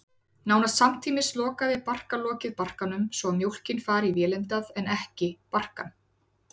Nánast samtímis lokar barkalokið barkanum, svo að mjólkin fari í vélindað en ekki barkann.